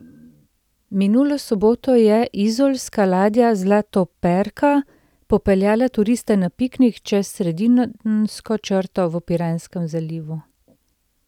Minulo soboto je izolska ladja Zlatoperka popeljala turiste na piknik čez sredinsko črto v Piranskem zalivu.